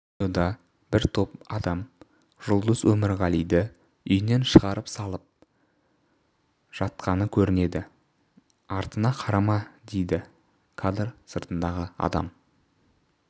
видеода бір топ адам жұлдыз өмірғалиді үйінен шығарып салып жатқаныкөрінеді артыңа қарама дейді кадр сыртындағы адам